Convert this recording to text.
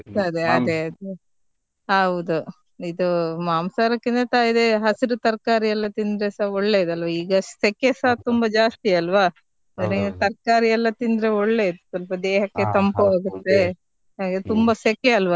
ಸಿಗ್ತದೆ ಅದೇ ಅದೇ, ಹೌದು ಇದು ಮಾಂಸಹಾರಕಿಂತ ಇದೆ ಹಸಿರು ತರ್ಕಾರಿ ಎಲ್ಲ ತಿಂದ್ರೆಸಾ ಒಳ್ಳೇದ್ ಅಲ್ವ ಈಗ ಸೆಕೆಸ ತುಂಬಾ ಜಾಸ್ತಿ ಅಲ್ವಾ ತರ್ಕಾರಿ ಎಲ್ಲ ತಿಂದ್ರೆ ಒಳ್ಳೇದು ಸ್ವಲ್ಪ ದೇಹಕ್ಕೆ ತಂಪು ಆಗುತ್ತೆ ಹಾಗೆ ತುಂಬ ಸೆಕೆ ಅಲ್ವ.